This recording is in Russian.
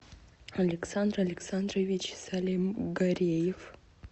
александр александрович салимгареев